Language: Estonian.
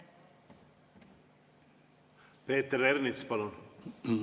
Peeter Ernits, palun!